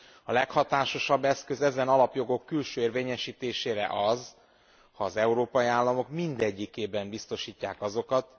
A leghatásosabb eszköz ezen alapjogok külső érvényesítésére az, ha az európai államok mindegyikében biztosítják azokat.